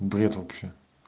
бред вообще